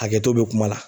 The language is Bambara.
Hakɛto bɛ kuma la